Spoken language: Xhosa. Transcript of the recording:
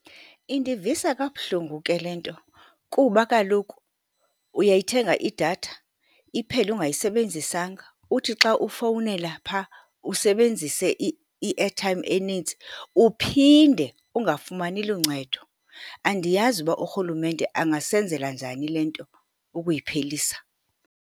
Indivisa kabuhlungu ke le nto kuba kaloku uyayithenga idatha iphele ungayisebenzisanga. Uthi xa ufowunela phaa, usebenzise i-airtime enintsi uphinde ungafumani luncedo. Andiyazi uba urhulumente angasenzela njani le nto, ukuyiphelisa.